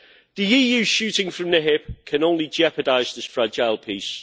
The EU shooting from the hip can only jeopardise this fragile peace.